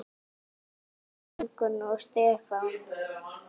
Bjössi, Ingunn og Stefán.